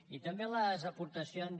i també les aportacions